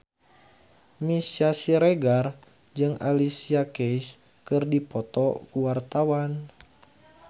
Meisya Siregar jeung Alicia Keys keur dipoto ku wartawan